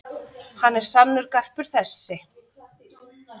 Hann er sannur garpur þessi.